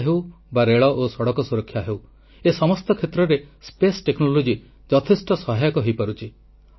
ବାତ୍ୟା ହେଉ ବା ରେଳ ଓ ସଡ଼କ ସୁରକ୍ଷା ହେଉ ଏ ସମସ୍ତ କ୍ଷେତ୍ରରେ ମହାକାଶ ଟେକ୍ନୋଲଜି ଯଥେଷ୍ଟ ସହାୟକ ହୋଇପାରୁଛି